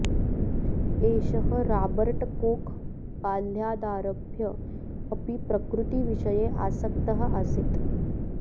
एषः Robert Koch बाल्यादारभ्य अपि प्रकृतिविषये आसक्तः आसीत्